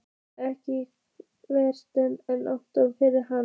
Ekki frekar en Anton fyrir hana.